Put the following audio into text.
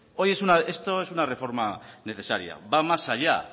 esto es una reforma necesaria va más allá